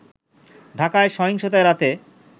ঢাকায় সহিংসতা এড়াতে